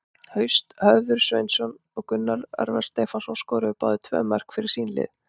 Haust Hörður Sveinsson og Gunnar Örvar Stefánsson skoruðu báðir tvö mörk fyrir sín lið.